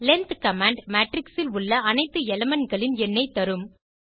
length command matrix இல் உள்ள அனைத்து elementகளின் எண்ணைத் தரும்